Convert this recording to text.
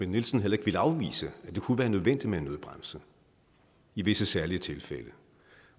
nielsen heller ikke ville afvise at det kunne være nødvendigt med en nødbremse i visse særlige tilfælde